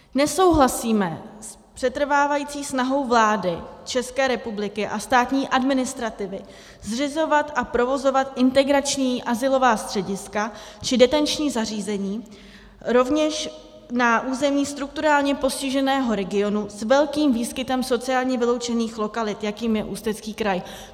Nesouhlasíme s přetrvávající snahou vlády České republiky a státní administrativy zřizovat a provozovat integrační azylová střediska či detenční zařízení rovněž na území strukturálně postiženého regionu s velkým výskytem sociálně vyloučených lokalit, jakým je Ústecký kraj.